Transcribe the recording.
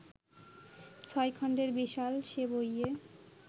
ছয় খণ্ডের বিশাল সে বইয়ে